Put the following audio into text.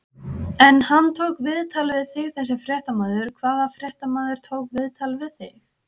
En hann tók viðtal við þig þessi fréttamaður, hvaða fréttamaður tók viðtal við þig?